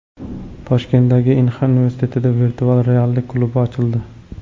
Toshkentdagi Inxa universitetida virtual reallik klubi ochildi.